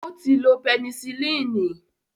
Ó ti lo pẹnicilínì